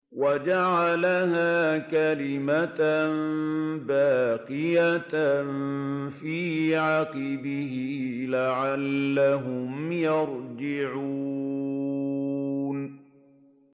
وَجَعَلَهَا كَلِمَةً بَاقِيَةً فِي عَقِبِهِ لَعَلَّهُمْ يَرْجِعُونَ